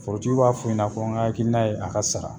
Forotigiw b'a fɔ u ɲɛna, n kakilina ye a ka sara.